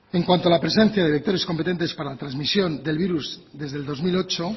en cuanto a la presencia de vectores competentes para la transmisión del virus desde el dos mil ocho